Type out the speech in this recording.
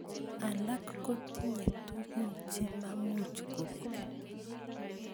Alak kotinye tukun chememuch kobek.